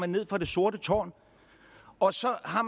ned fra det sorte tårn og så har